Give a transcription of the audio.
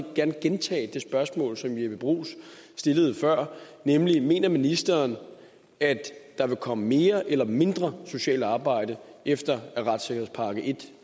gerne gentage det spørgsmål som jeppe bruus stillede før nemlig mener ministeren at der vil komme mere eller mindre sort arbejde efter at retssikkerhedspakke en